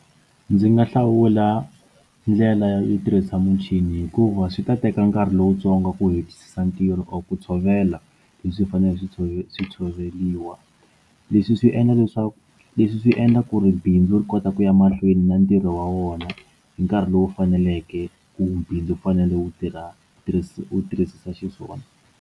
Ndzi nga hlawula ndlela yo tirhisa muchini hikuva swi ta teka nkarhi lowutsongo ku hetisisa ntirho or ku tshovela leswi faneleke swi tshovi swi tshoveriwa leswi swi endla leswaku leswi swi endla ku ri bindzu ri kota ku ya mahlweni na ntirho wa wona hi nkarhi lowu faneleke ku bindzu u fanele u tirha tirhisa u tirhisa xiswona.